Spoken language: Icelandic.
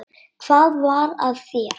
Hvað var að þér?